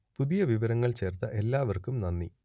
പുതിയ വിവരങ്ങൾ ചേർത്ത എല്ലാവർക്കും നന്ദി